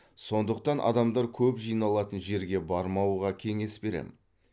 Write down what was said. сондықтан адамдар көп жиналатын жерге бармауға кеңес беремін